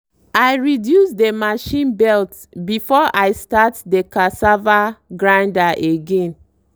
i reduce dey machine belt before i start dey cassava grander again.